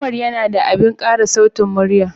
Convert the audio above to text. Umar yana da abin ƙara sautin murya